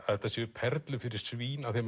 þetta séu perlur fyrir svín því